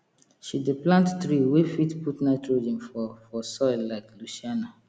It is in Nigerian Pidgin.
she dey plant tree wey fit put nitrogen for for soil like leucaena